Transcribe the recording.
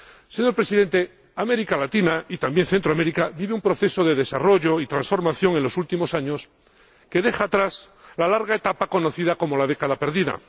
Señor Presidente, América Latina —y también Centroamérica— vive un proceso desarrollo y transformación en los últimos años que deja atrás la larga etapa conocida como la década perdida.